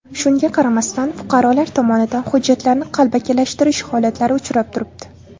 Shunga qaramasdan fuqarolar tomonidan hujjatlarni qalbakilashtirish holatlari uchrab turibdi.